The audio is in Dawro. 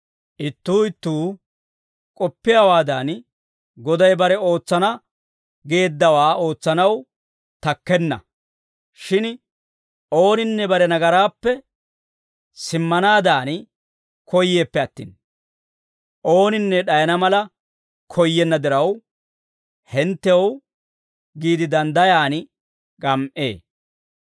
Ittuu ittuu k'oppiyaawaadan, Goday bare ootsana geeddawaa ootsanaw takkenna; shin ooninne bare nagaraappe simmanaadan koyyeeppe attin, ooninne d'ayana mala koyyenna diraw, hinttew giide danddayaan gam"ee.